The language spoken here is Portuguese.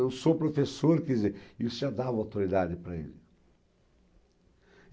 Eu sou professor, quer dizer, isso já dava autoridade para ele.